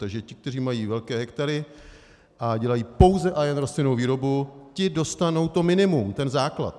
Takže ti, kteří mají velké hektary a dělají pouze a jen rostlinnou výrobu, ti dostanou to minimum, ten základ.